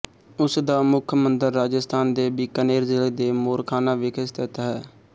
ਉਸ ਦਾ ਮੁੱਖ ਮੰਦਰ ਰਾਜਸਥਾਨ ਦੇ ਬੀਕਾਨੇਰ ਜ਼ਿਲ੍ਹੇ ਦੇ ਮੋਰਖਾਨਾ ਵਿਖੇ ਸਥਿਤ ਹੈ